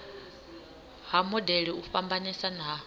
ha modele u fhambanesa ha